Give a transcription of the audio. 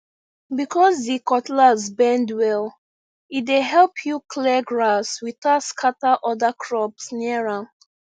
because the cutlass bend well e dey help you clear grass without scatter other crops near am